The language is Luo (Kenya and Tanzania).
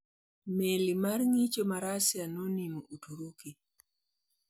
Meli mar ngicho mar rusia nonimo uturuki